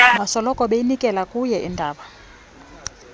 basoloko beyinikelakuwe indaba